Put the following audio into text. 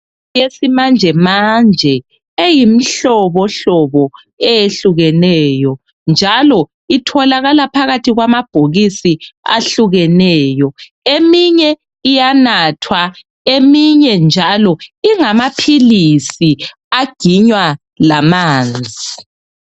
eyesimanjamanje eyimhlobomhlobo eyehlukeneyo njalo itholakala phakathi kwamabhokisi ahlukeneyo eminye iyanathwa eminye njalo ingamaphilisi aginywa lamanzi